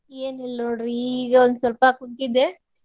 ಏನಿಲ್ಲ್ ನೋಡ್ರಿ ಇಗ ಒಂದ್ ಸ್ವಲ್ಪ ಕುಂತಿದ್ದೆ.